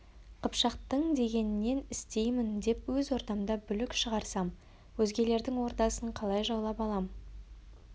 қыпшақтың дегенін істеймін деп өз ордамда бүлік шығарсам өзгелердің ордасын қалай жаулап алам